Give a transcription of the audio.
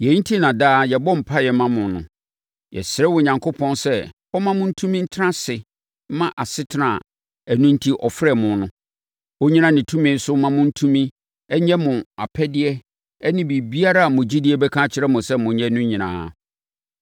Yei enti na daa yɛbɔ mpaeɛ ma mo no. Yɛsrɛ Onyankopɔn sɛ ɔmma mo ntumi ntena ase mma asetena a ɛno enti ɔfrɛɛ mo no. Ɔnnyina ne tumi so mma mo tumi, nyɛ mo apɛdeɛ ne biribiara a mo gyidie bɛka akyerɛ mo sɛ monyɛ no nyinaa.